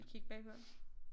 Gik bagpå